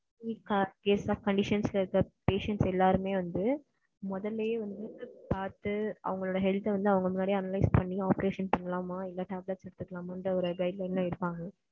Critical condition ல இருக்குற patients எல்லாருமே வந்து முதல்லயே வந்து பாத்து அவங்களோட health அ வந்து அவங்களே அவங்க முன்னாடியே analyis பண்ணி operation பண்ணலாமா இல்ல tablet முதல்லயே வந்து guideline எல்லாம் எடுப்பாங்க,